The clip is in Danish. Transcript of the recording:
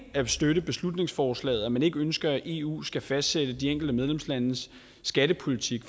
at støtte beslutningsforslaget at man ikke ønsker at eu skal fastsætte de enkelte medlemslandes skattepolitik